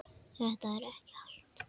Þetta er ekki allt